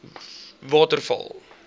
waterval